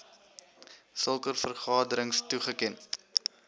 sulke vergaderings toegeken